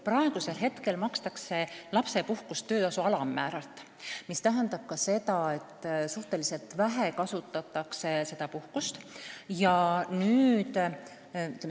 Praegu makstakse lapsepuhkust töötasu alammäära ulatuses, mis tähendab seda, et seda puhkust kasutatakse suhteliselt vähe.